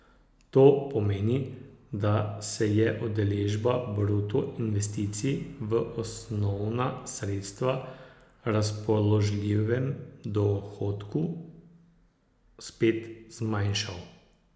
To pomeni, da se je delež bruto investicij v osnovna sredstva v razpoložljivem dohodku spet zmanjšal.